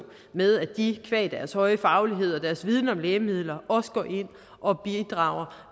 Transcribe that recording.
med at de qua deres høje faglighed og deres viden om lægemidler også går ind og bidrager